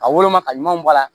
A woloma ka ɲuman bɔ a la